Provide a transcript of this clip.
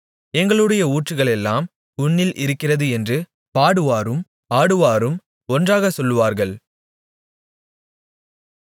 எங்களுடைய ஊற்றுகளெல்லாம் உன்னில் இருக்கிறது என்று பாடுவாரும் ஆடுவாரும் ஒன்றாக சொல்லுவார்கள்